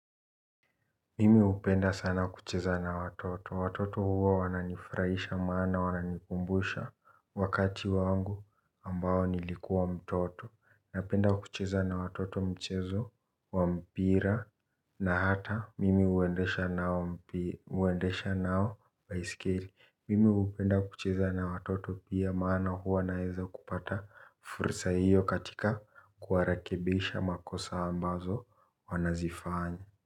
Mimi hupenda sana kucheza na watoto. Watoto huwa wananifurahisha maana wananikumbusha wakati wangu ambao nilikuwa mtoto. Napenda kucheza na watoto mchezo wa mpira na hata mimi huendesha nao baiskeli. Mimi hupenda kucheza na watoto pia maana huwa naeza kupata fursa hiyo katika kuwarekebisha makosa ambazo wanazifanya.